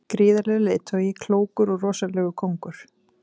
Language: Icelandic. Gríðarlegur leiðtogi, klókur og rosalegur kóngur.